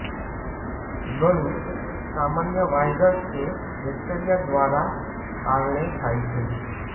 ગળું સામાન્ય વાયરસ કે બેક્ટેરિયા દ્વારા કારણે થાય છે